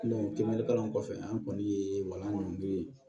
kiliyanli kalan kɔfɛ an kɔni ye